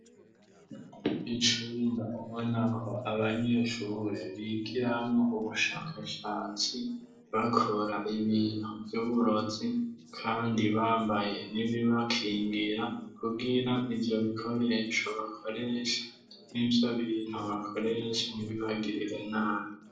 Icumba ubonako abanyeshure bigiramWo ubushakashatsi, bakora ibintu vy'uburozi kandi bambaye n'ibibakingira kugira ivyo bikoresho bakoresha n'ivyo bintu bakoresha ntibibagirire nabi.